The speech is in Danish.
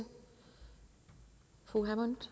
få uddannet